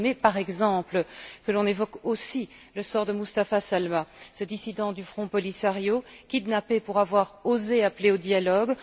J'aurais aimé, par exemple, que l'on évoque aussi le sort de Mustapha Salma, ce dissident du Front Polisario, kidnappé pour avoir osé appeler au dialogue.